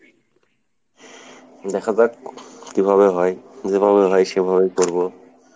দেখা যাক কীভাবে হয়, যেভাবে হয় সেভাবেই করবো।